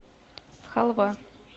халва